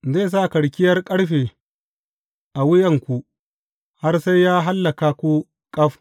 Zai sa karkiyar ƙarfe a wuyanku har sai ya hallaka ku ƙaf.